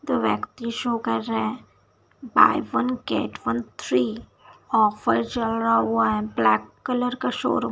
दो व्यक्ति शो कर रहा है buy one get one free offer चल रहा हुआ है ब्लैक कलर का शोरूम --